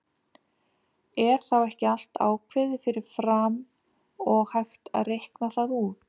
Er þá ekki allt ákveðið fyrir fram og hægt að reikna það út?